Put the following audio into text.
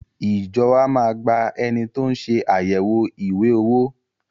Ìjọ wa má a gba ẹni tó ń ṣe àyẹ̀wò ìwé owó.